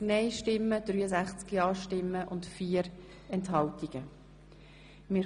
Kenntnisnahme inkl. Planungserklärungen Ziff.